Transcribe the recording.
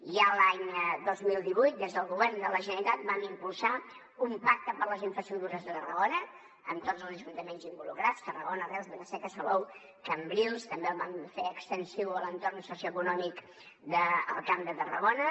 ja l’any dos mil divuit des del govern de la generalitat vam impulsar un pacte per a les infraestructures de tarragona amb tots els ajuntaments involucrats tarragona reus vila seca salou cambrils també el vam fer extensiu a l’entorn socioeconòmic del camp de tarragona